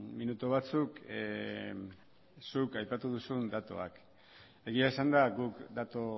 minutu batzuk zuk aipatu duzun datuak egia esanda guk datu